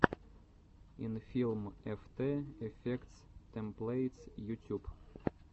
инфилм эфтэ эфектс тэмплэйтс ютюб